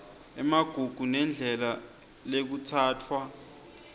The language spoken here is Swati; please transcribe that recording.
emagugu nendlela lekutsatfwa